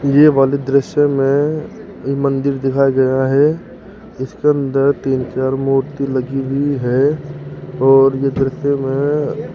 ये वाली दृश्य में ये मंदिर दिखाई दे रहा है इसके अंदर तीन चार मूर्ति लगी हुई है और यह दृश्य में --